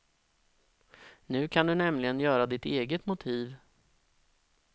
Nu kan du nämligen göra ditt eget motiv.